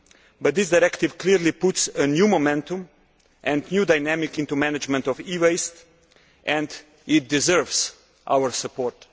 But this directive clearly puts a new momentum and new dynamic into management of e waste and it deserves our support.